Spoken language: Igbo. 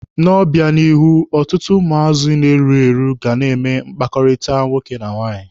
N'obịanihu, ọtụtụ ụmụazị na-erughi eru ga na-eme mkpakọrịta nwoke na nwaanyị.